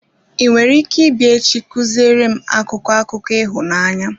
I nwere ike ịbịa echi ị kuziri m akụkọ akụkọ ịhụnanya?